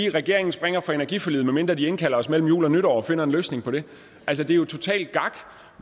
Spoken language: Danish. at regeringen springer fra energiforliget medmindre den indkalder os mellem jul og nytår og finder en løsning på det altså det er jo totalt gak